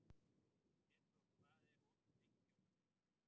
Petrós, hvað er opið lengi á föstudaginn?